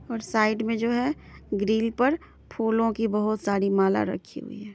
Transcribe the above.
और साईड में जो है । ग्रिल पर फूलो की बोहत सारी माला रखी हुई हें ।